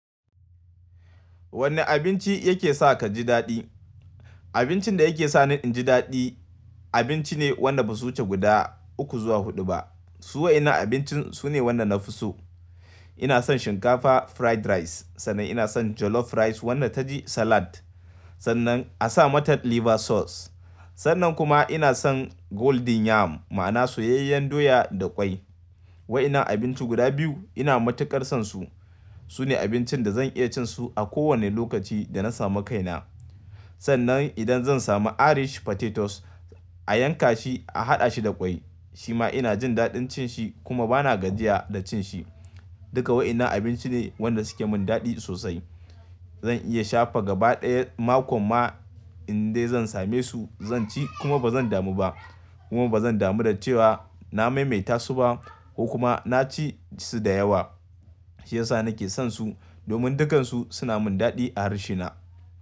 Wanne abinci yake sa ka ji daɗi? Abincin da yake sa ni in ji daɗi abinci ne wanda ba su wuce guda uku zuwa huɗu ba. Su waɗannan abincin su ne waɗanda na fi so. Ina son shinkafa fried rice, sannan ina son jollof rice wanda ta ji salad, sannan a sa mata liver sauce. Sannan kuma ina son golden yam ma'ana soyayyen doya da ƙwai. Waɗannan abinci guda biyu ina matuƙar son su. Su ne abincin da zan iya cin su a kowane lokaci da na samu kaina. Sannan idan zan samu irish potatoes a yanka shi a haɗa shi da ƙwai, shi ma ina jin daɗin cin shi kuma ba na gajiya da cin shi. Duka waɗannan abinci ne wanda suke mun daɗi sosai. Zan iya shafa gaba ɗaya makon ma in dai zan same su zan ci kuma ba zan damu ba. Kuma ba zan damu da cewa na maimaita su ba ko kuma na ci su da yawa. Shi ya sa nake son su domin dukansu suna mun daɗi a harshe na.